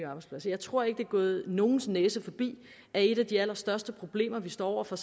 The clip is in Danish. arbejdspladser jeg tror ikke det er gået nogens næse forbi at et af de allerstørste samfundsøkonomiske problemer vi står over for